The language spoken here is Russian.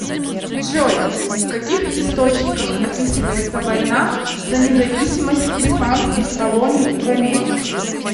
джой в каких источниках описывается война за независимость испанских колоний в америке